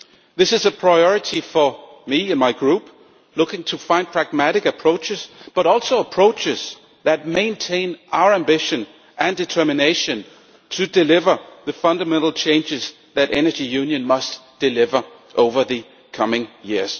This is a priority for me and my Group looking to find pragmatic approaches, but also approaches that maintain our ambition and determination to deliver the fundamental changes that energy union must deliver over the coming years.